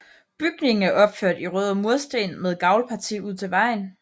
Bygningen er opført i røde mursten med gavlparti ud til vejen